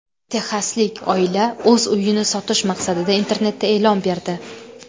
Texaslik oila o‘z uyini sotish maqsadida internetda e’lon berdi.